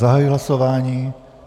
Zahajuji hlasování.